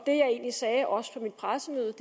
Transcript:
egentlig sagde også på mit pressemøde